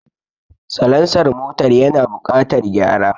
Salansar motar yana buƙatar gyara